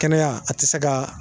Kɛnɛya a tɛ se ka